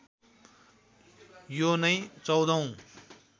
यो नै १४औं